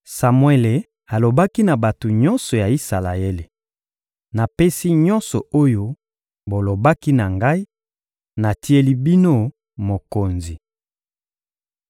Samuele alobaki na bato nyonso ya Isalaele: — Napesi nyonso oyo bolobaki na ngai: natieli bino mokonzi.